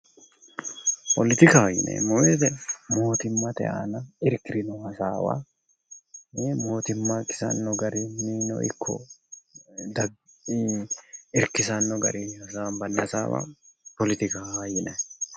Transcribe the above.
Politikaho yineemmo woyite mootimmate aana irkirino hasaawa mootimma kisanno garinniino ikko irkisanni garinni hasaambayi hasaawa poletikaho yinanni.